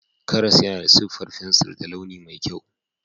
Karas yana da siffar fensir da launi mai kyau.